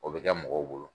O bɛ kɛ mɔgɔw bolo